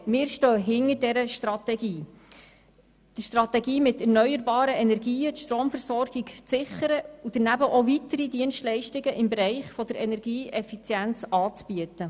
Wir stehen hinter der Strategie, mit erneuerbaren Energien die Stromerzeugung zu sichern und daneben weitere Dienstleistungen im Bereich der Energieeffizienz anzubieten.